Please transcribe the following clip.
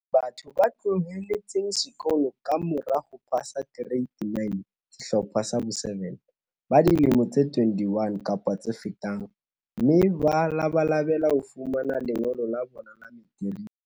Batho ba tloheletseng sekolo ka mora ho pasa Ke reite 9, Sehlopha sa bo7, ba dilemo tse 21 kapa tse fetang, mme ba labalabela ho fumana lengolo la bona la materiki.